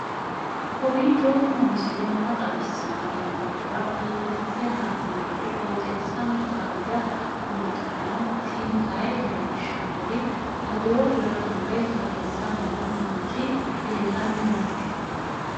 kowiicho xuma mtini maa xawissanno yaannohura biifinse haa'noonniti qooxeessano faayya kultanno tini kayi leellishshannori odoo kulanni woy tareessanni noo manchi leellanni noe